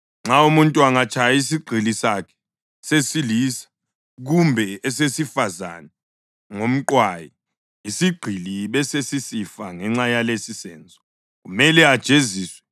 Nxa umuntu angatshaya isigqili sakhe sesilisa kumbe esesifazane ngomqwayi, isigqili besesisifa ngenxa yalesisenzo, kumele ajeziswe,